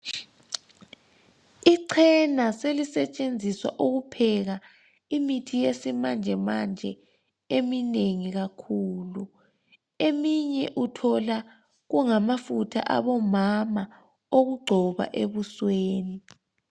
Ichena selisetshenziswa ukupheka imithi yesimanjemanje eminengi kakhulu . Eminye uthola kungamafutha abomama okugcoba ebusweni .